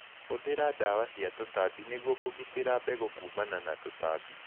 Hũthira ndawa cia tũtambi nĩguo kũgitĩra mbegũ kumana na tũtambi.